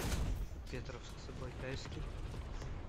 петровск забайкальский